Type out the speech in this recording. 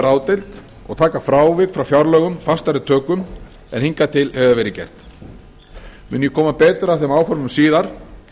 ráðdeild og taka frávik frá fjárlögum fastari tökum en hingað til hefur verið gert mun ég koma betur að þeim áformum síðar